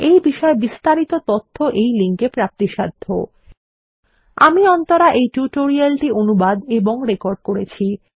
এই বিষয়ে বিস্তারিত তথ্য এই লিঙ্ক এ প্রাপ্তিসাধ্য httpspoken tutorialorgNMEICT Intro আমি অন্তরা এই টিউটোরিয়ালটি অনুবাদ এবং রেকর্ড করেছি